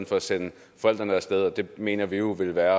for sende forældrene af sted det mener vi jo ville være